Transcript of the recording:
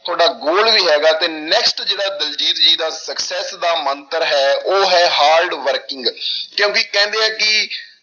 ਤੁਹਾਡਾ goal ਵੀ ਹੈਗਾ ਤੇ next ਜਿਹੜਾ ਦਲਜੀਤ ਜੀ ਦਾ success ਦਾ ਮੰਤਰ ਹੈ ਉਹ ਹੈ hard working ਕਿਉਂਕਿ ਕਹਿੰਦੇ ਆ ਕਿ